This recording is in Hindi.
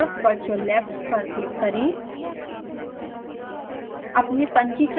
बायीं तरफ virtual labs पर क्लिक करें